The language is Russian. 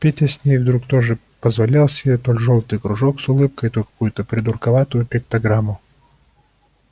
петя с ней вдруг тоже позволял себе то жёлтый кружок с улыбкой то какую-то придурковатую пиктограмму